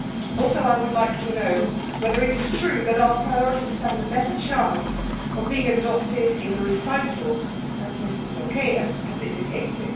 Also, I would like to know whether it is true that our priorities stand a better chance of being adopted in the recitals, as Mrs Milquet has indicated.